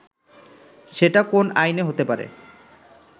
সেটা কোন আইনে হতে পারে